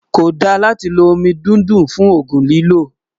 kò dá látí ló omí dúndún fún ògún lílò